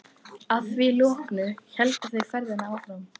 Að því loknu héldu þau ferðinni áfram.